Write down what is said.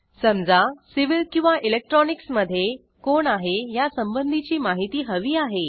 समजा सिव्हिल किंवा electronicsमधे कोण आहे ह्यासंबंधीची माहिती हवी आहे